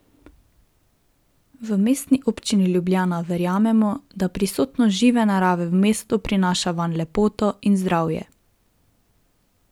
V Mestni občini Ljubljana verjamemo, da prisotnost žive narave v mestu prinaša vanj lepoto in zdravje.